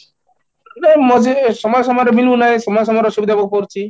ନା ମଝିରେ ସମୟ ସମୟରେ ବି ନାହିଁ ସମୟ ସମୟରେ ଅସୁବିଧା ଭୋଗ କରୁଛି